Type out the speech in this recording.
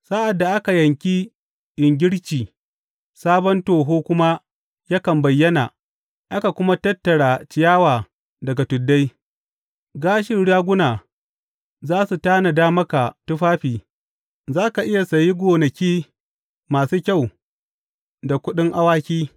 Sa’ad da aka yanki ingirci sabon toho kuma ya bayyana aka kuma tattara ciyawa daga tuddai, gashin raguna za su tanada maka tufafi, za ka iya sayi gonaki masu kyau da kuɗin awaki.